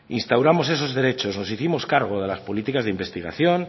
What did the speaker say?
instauramos esos derechos nos hicimos cargo de las políticas de investigación